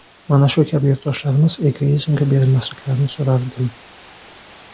Mana shu kabi yurtdoshlarimiz egoizmga berilmasliklarini so‘rardim.